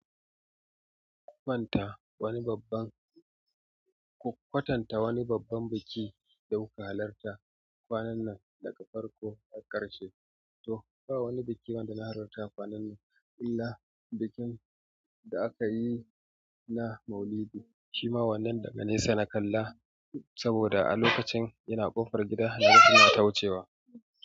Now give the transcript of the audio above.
Ku kwatanta wani babban biki da kuka halarta kwanan nan daga farko har ƙarshe. To ba wani biki ba da na halarta kwanan nan illa bikin da aka yi na Maulidi shima wannan daga nesa na kalla saboda a lokacin ina ƙofar gida suna ta wucewa.